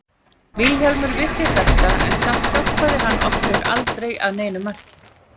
Vilhjálmur vissi þetta en samt hjálpaði hann okkur aldrei að neinu marki.